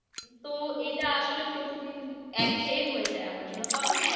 তো এইটা আসলে প্রতিদিন এক ঘেয়ে হয়ে যাই আমার জন্য তবে হ্যাঁ